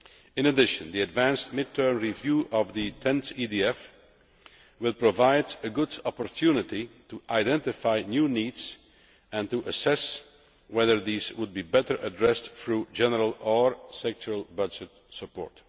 In addition, the advanced mid term review of the 10th EDF will provide a good opportunity to identify new needs and assess whether these would be better addressed through general or sectoral budget support.